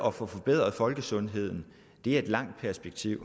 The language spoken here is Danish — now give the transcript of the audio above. at få forbedret folkesundheden er et langsigtet